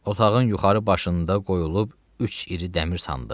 Otağın yuxarı başında qoyulub üç iri dəmir sandıq.